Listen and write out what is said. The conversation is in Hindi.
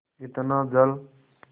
इतना जल